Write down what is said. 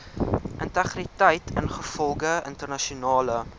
integriteit ingevolge internasionale